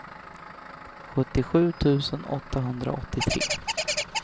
sjuttiosju tusen åttahundraåttiotre